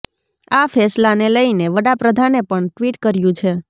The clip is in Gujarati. આ ફેંસલાને લઈને વડાપ્રધાને પણ ટ્વિટ કર્યું છે